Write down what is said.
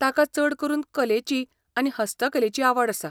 ताका चड करून कलेची आनी हस्तकलेची आवड आसा.